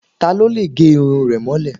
Ta ló lè gẹ irun rẹ̀ mọ́lẹ̀?